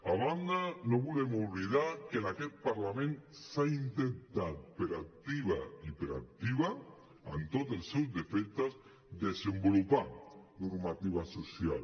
a banda no volem oblidar que en aquest parlament s’ha intentat per activa i per passiva amb tots els seus defectes desenvolupar normativa social